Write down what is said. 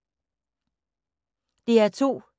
DR2